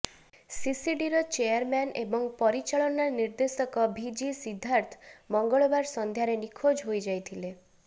ସିସିଡିର chairman ଏବଂ ପରିଚାଳନା ନିର୍ଦ୍ଦେଶକ ଭି ଜି ସିଦ୍ଧାର୍ଥ ମଙ୍ଗଳବାର ସନ୍ଧ୍ୟାରେ ନିଖୋଜ ହୋଇଯାଇଥିଲେ